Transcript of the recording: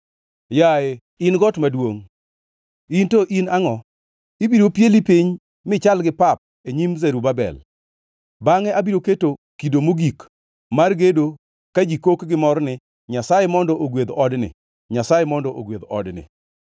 “Yaye, in got maduongʼ, in to in angʼo? Ibiro pieyi piny michal gi pap e nyim Zerubabel. Bangʼe obiro keto kido mogik mar gedo ka ji kok gimor ni, ‘Nyasaye mondo ogwedh odni! Nyasaye mondo ogwedh odni!’ ”